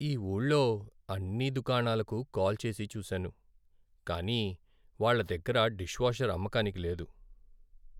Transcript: ఈ ఊళ్ళో అన్ని దుకాణాలకు కాల్ చేసి చూసాను, కానీ వాళ్ళ దగ్గర డిష్వాషర్ అమ్మకానికి లేదు.